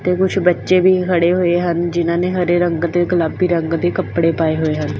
ਕੁੱਛ ਬੱਚੇ ਵੀ ਖੜੇ ਹੋਏ ਹਨ ਜਿਨ੍ਹਾਂ ਨੇ ਹਰੇ ਰੰਗ ਤੇ ਗੁਲਾਬੀ ਰੰਗ ਦੇ ਕੱਪੜੇ ਪਾਏ ਹੋਏ ਹਨ।